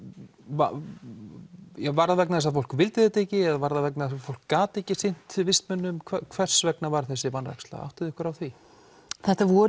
var það vegna þess að fólk vildi þetta ekki eða var það vegna þess að fólk gat ekki sinnt vistmönnum hvers vegna var þessi vanræksla áttið þið ykkur á því þetta voru